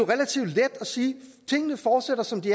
tingene fortsætter som de